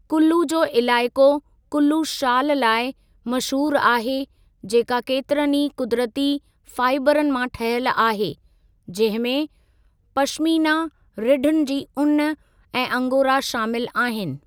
कुल्लू जो इलाइक़ो कुल्लू शाल लाइ मशहूरु आहे जेका केतिरनि ई क़ुदिरती फ़ाइबरन मां ठहियल आहे जंहिं में पशमीना रिढुनि जी ऊन ऐं अंगोरा शामिलु आहिनि।